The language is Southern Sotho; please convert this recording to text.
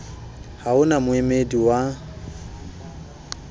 ha ho na moemedi wa